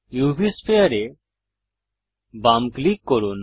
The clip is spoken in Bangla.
উভ স্ফিয়ার এ বাম ক্লিক করুন